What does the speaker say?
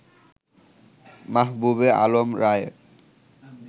মাহবুবে আলম রায়ে